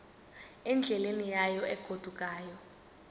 endleleni yayo egodukayo